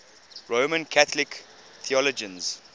roman catholic theologians